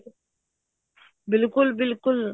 ਬਿਲਕੁਲ ਬਿਲਕੁਲ